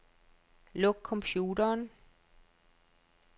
Luk computeren.